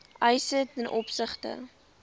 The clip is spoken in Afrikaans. eis ten opsigte